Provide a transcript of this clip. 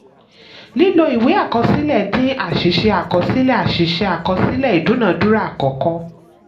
lílo ìwé àkọsílẹ̀ dín àṣìṣe àkọsílẹ̀ àṣìṣe àkọsílẹ̀ ìdúnadúrà àkọ́kọ́.